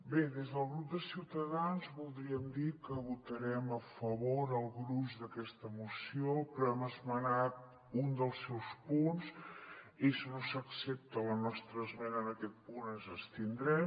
bé des del grup de ciutadans voldríem dir que votarem a favor el gruix d’aquesta moció però hem esmenat un dels seus punts i si no s’accepta la nostra esmena en aquest punt ens abstindrem